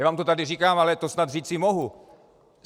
Já vám to tady říkám, ale to snad říci mohu.